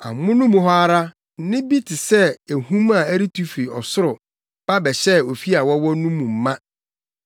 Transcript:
Amono mu hɔ ara, nne bi te sɛ ahum a ɛretu fi ɔsoro ba bɛhyɛɛ ofi a na wɔwɔ mu no ma.